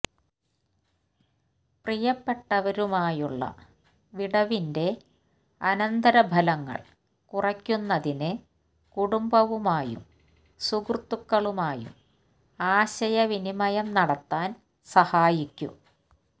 പ്രിയപ്പെട്ടവരുമായുള്ള വിടവിന്റെ അനന്തരഫലങ്ങൾ കുറയ്ക്കുന്നതിന് കുടുംബവുമായും സുഹൃത്തുക്കളുമായും ആശയവിനിമയം നടത്താൻ സഹായിക്കും